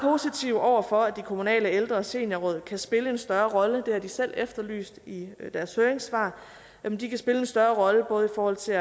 over for at de kommunale ældre og seniorråd kan spille en større rolle det har de selv efterlyst i deres høringssvar jamen de kan spille en større rolle både i forhold til